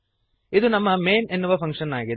ಇದು ನಮ್ಮ ಮೈನ್ ಎನ್ನುವ ಫಂಕ್ಶನ್ ಆಗಿದೆ